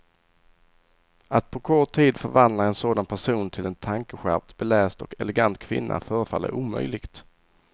Att på kort tid förvandla en sådan person till en tankeskärpt, beläst och elegant kvinna förefaller omöjligt.